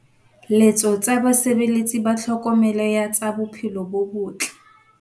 Letso tsa basebeletsi ba tlhokomelo ya tsa bophelo bo bottle.